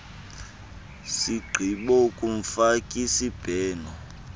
sigqibo kumfaki sibheno